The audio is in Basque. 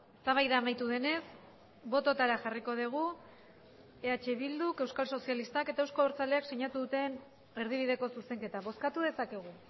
eztabaida amaitu denez bototara jarriko dugu eh bilduk euskal sozialistak eta euzko abertzaleak sinatu duten erdibideko zuzenketa bozkatu dezakegu